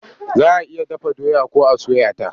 Za a iya dafa doya ko a soya ta.